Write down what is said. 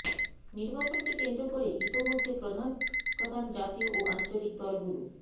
নির্বাচনকে কেন্দ্র করে ইতোমধ্যে প্রধান প্রধান জাতীয় ও আঞ্চলিক দলগুলো